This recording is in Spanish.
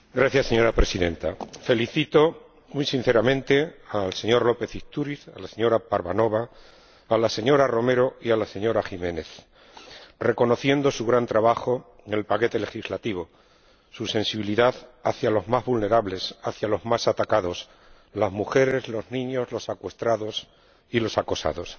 Señora Presidenta, felicito muy sinceramente al señor López Istúriz, a la señora Parvanova, a la señora Romero y a la señora Jiménez, reconociendo su gran trabajo en el paquete legislativo y su sensibilidad hacia los más vulnerables, hacia los más atacados las mujeres, los niños, los secuestrados y los acosados.